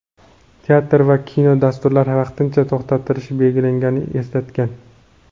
teatr va kino dasturlari vaqtincha to‘xtatilishi belgilanganini eslatgan.